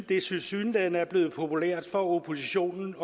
det tilsyneladende er blevet populært for oppositionen